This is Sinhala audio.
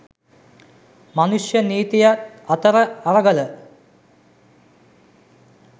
මනුෂ්‍ය නීතියත් අතර අරගල